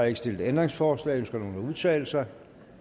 ikke stillet ændringsforslag ønsker nogen at udtale sig